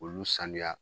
Olu sanuya